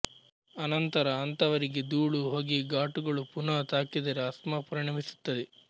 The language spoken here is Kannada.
ಅನಂತರ ಅಂಥವರಿಗೆ ದೂಳು ಹೊಗೆ ಘಾಟುಗಳು ಪುನಃ ತಾಕಿದರೆ ಆಸ್ತ್ಮ ಪರಿಣಮಿಸುತ್ತದೆ